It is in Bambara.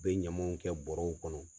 bɛ ɲamanw kɛ bɔrɔw kɔnɔ.